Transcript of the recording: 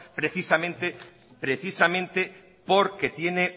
precisamente